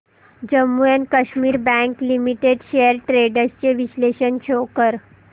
Jammu and Kashmir bank limited shares trends चे विश्लेषण show कर